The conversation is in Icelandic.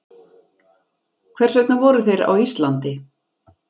Hvers vegna voru þeir á Íslandi?